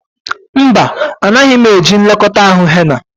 Mba, anaghị m eji nlekọta ahụ henna.